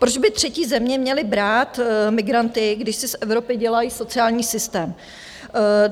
Proč by třetí země měly brát migranty, když si z Evropy dělají sociální systém?